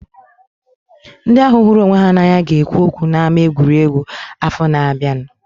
Ndị ahu hụrụ onwe ha na anya ga ekwu okwu na ama egwuregwu afọ na abianu